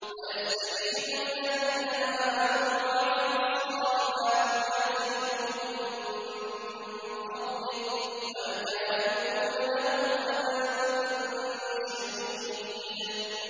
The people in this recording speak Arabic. وَيَسْتَجِيبُ الَّذِينَ آمَنُوا وَعَمِلُوا الصَّالِحَاتِ وَيَزِيدُهُم مِّن فَضْلِهِ ۚ وَالْكَافِرُونَ لَهُمْ عَذَابٌ شَدِيدٌ